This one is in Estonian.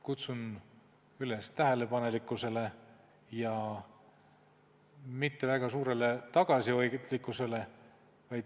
Kutsun üles tähelepanelikkusele ja mitte väga suurele tagasihoidlikkusele.